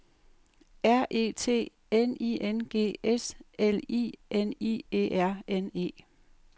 R E T N I N G S L I N I E R N E